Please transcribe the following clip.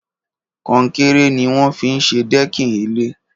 Kọ̀nkéré niwọn fi n ṣé dẹ̀kín ilé